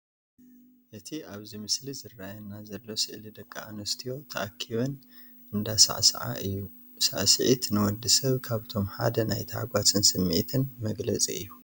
እቲ ኣብዚ ምስሊ ዝረኣየና ዘሎ ስእሊ ደቂ ኣንስትዮ ተኣኪቦም እንዳሳዕሰዓ እዩ። ስዕስዒት ንወዲ ሰብ ካብቶም ሓደ ናይ ተሓጓስን ስምዒትን መግለፂ እዩ።